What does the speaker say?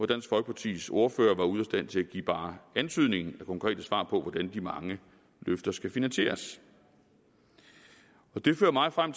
dansk folkepartis ordfører var ude af stand til at give bare antydningen af konkrete svar på hvordan de mange løfter skal finansieres det fører mig frem